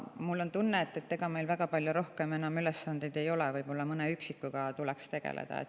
Mul on tunne, et ega meil väga palju rohkem enam ülesandeid ei ole, võib-olla mõne üksiku tuleks tegeleda.